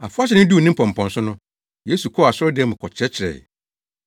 Afahyɛ no duu ne mpɔmpɔnso no, Yesu kɔɔ asɔredan mu kɔkyerɛkyerɛe.